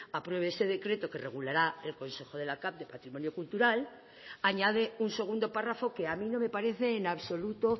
apruebe ese decreto que regulará el consejo de la cav de patrimonio cultural añade un segundo párrafo que a mí no me parece en absoluto